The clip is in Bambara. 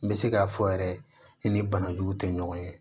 N bɛ se k'a fɔ yɛrɛ i ni banajuguw tɛ ɲɔgɔn ye